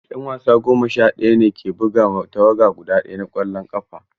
'Yan wasa goma sha ɗaya ne ke buga wa tawaga guda ɗaya na ƙwallon ƙafa.